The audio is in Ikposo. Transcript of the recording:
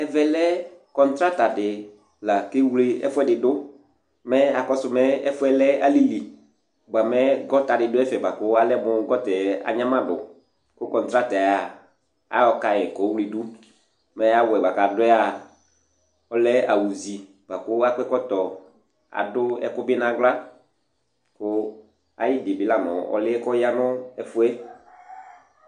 ɔlʊnani dɩ la nʊtɛ, okewle gonta gnamadu dɩ ladu, adʊ awu zi, akɔ ɛkɔtɔ kʊ adʊ ɛku bɩ naɣla, ayidi la ya nʊ ɛfu yɛ